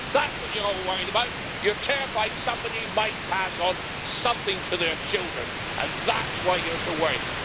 That's what you are all worried about. You're terrified somebody might pass on something to their children, and that's why you're so worried.